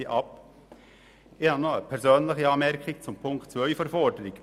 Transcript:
Ich habe noch eine persönliche Anmerkung zu Punkt 2 des Vorstosses.